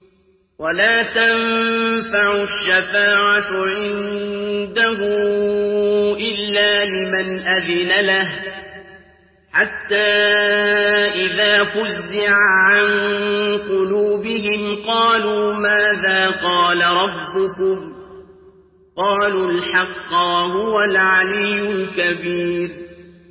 وَلَا تَنفَعُ الشَّفَاعَةُ عِندَهُ إِلَّا لِمَنْ أَذِنَ لَهُ ۚ حَتَّىٰ إِذَا فُزِّعَ عَن قُلُوبِهِمْ قَالُوا مَاذَا قَالَ رَبُّكُمْ ۖ قَالُوا الْحَقَّ ۖ وَهُوَ الْعَلِيُّ الْكَبِيرُ